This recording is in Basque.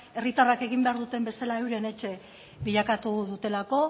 herritarrak egin behar duten bezala euren etxe bilakatu dutelako